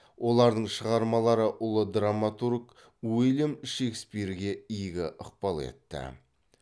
олардың шығармалары ұлы драматург ульям шекспирге игі ықпал етті